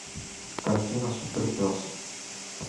картина супер пес